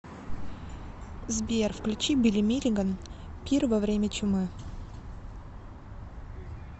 сбер включи билли миллиган пир во время чумы